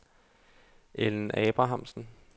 Ellen Abrahamsen